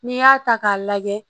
N'i y'a ta k'a lajɛ